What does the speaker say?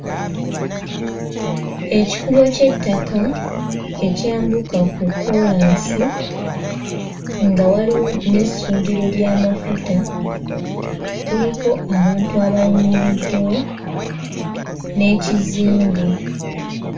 Ekikubo ky'ettaka ekyambuka ku kkoolaasi nga waliwo n'essundiro ly'amafuta kuliko abantu abayimiriddewo n'ekizimbe.